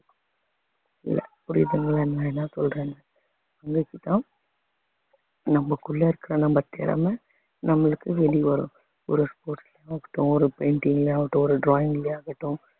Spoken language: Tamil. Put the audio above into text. புரியுதுங்களா நான் என்ன சொல்றேன்னு நமக்குள்ள இருக்கிற நம்ம திறமை நம்மளுக்கு வெளிய வரும் ஒரு sports ஆகட்டும் ஒரு painting லயா ஆகட்டும் ஒரு drawing லயா ஆகட்டும்.